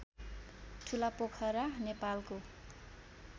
ठुलापोखरा नेपालको